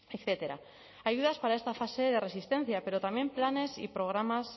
etcétera ayudas para esta fase de resistencia pero también planes y programas